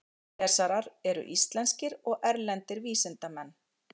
Fyrirlesarar eru íslenskir og erlendir vísindamenn